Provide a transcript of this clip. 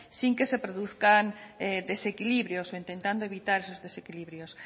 sin que se produzcan desequilibrios o intentando evitar sus desequilibrios